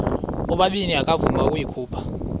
ubabini akavuma ukuyikhupha